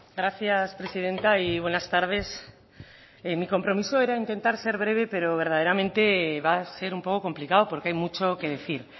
gracias presidenta y buenas tardes mi compromiso era intentar ser breve pero verdaderamente va a ser un poco complicado porque hay mucho que decir